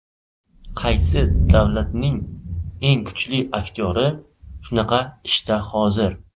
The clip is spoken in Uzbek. Qaysi davlatning eng kuchli aktyori shunaqa ishda hozir?